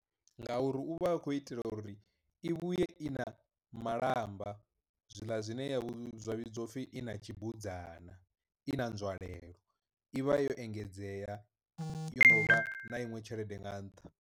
Ngauri u vha a khou itela uri i vhuye i na malamba zwiḽa zwine zwa vhidziwa upfi i na tshibudzana, i na nzwalelo i vha yo engedzea yo no vha na iṅwe tshelede nga nṱha.